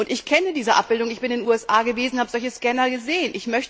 Ich kenne diese Abbildungen, ich bin in den USA gewesen, ich habe solche Scanner gesehen.